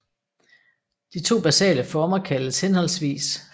De to basale former kaldes hhv